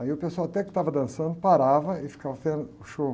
Aí o pessoal até que estava dançando, parava e ficava esperando o show.